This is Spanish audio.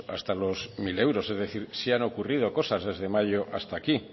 hasta los mil euros es decir sí han ocurrido cosas desde mayo hasta aquí